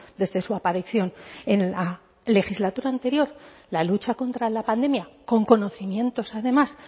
desde su aparición en la legislatura anterior la lucha contra la pandemia con conocimientos además